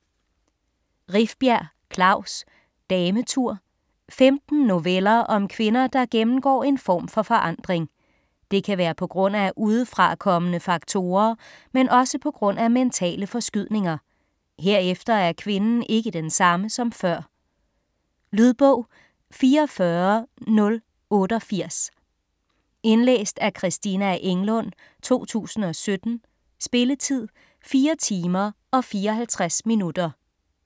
Rifbjerg, Klaus: Dametur Femten noveller om kvinder, der gennemgår en form for forandring. Det kan være pga. udefrakommende faktorer, men også pga. mentale forskydninger. Herefter er kvinden ikke den samme som før. Lydbog 44088 Indlæst af Christina Englund, 2017. Spilletid: 4 timer, 54 minutter.